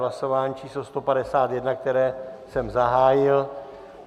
Hlasování číslo 151, které jsem zahájil.